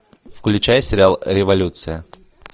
включай сериал революция